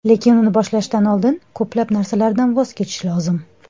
Lekin uni boshlashdan oldin ko‘plab narsalardan voz kechish lozim.